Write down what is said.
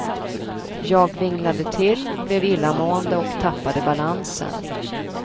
Jag vinglade till, blev illamående och tappade balansen.